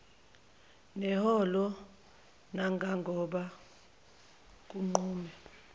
neholo nangangoba kunqume